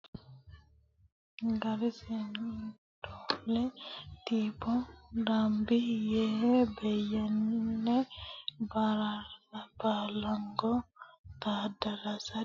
Gorgis Siddoole Ayyelech Tesema Mebiraatu Pheexiroos Tiibbo Dambi Beyyene Ba raasa Baallango Taaddasa Diimoole Goota Daamxo Daawiti Qaaqqe Taaffasa Gorgis Siddoole.